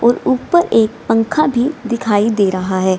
और ऊपर एक पंखा भी दिखाई दे रहा है।